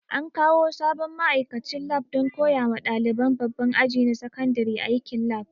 An kawo sabon ma'aikacin lab don koya wa ɗaliban babban aji na sakandare aikin lab